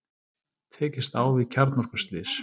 Tekist á við kjarnorkuslys